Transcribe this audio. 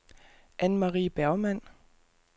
Annemarie Bergmann